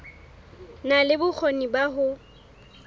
na le bokgoni ba ho